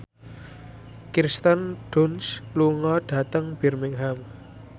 Kirsten Dunst lunga dhateng Birmingham